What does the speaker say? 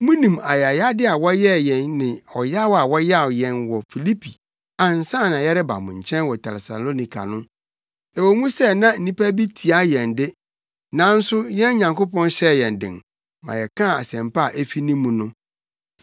Munim ayayade a wɔyɛɛ yɛn ne ɔyaw a wɔyaw yɛn wɔ Filipi ansa na yɛreba mo nkyɛn wɔ Tesalonika no. Ɛwɔ mu sɛ na nnipa bi tia yɛn de, nanso yɛn Nyankopɔn hyɛɛ yɛn den ma yɛkaa Asɛmpa a efi ne mu no.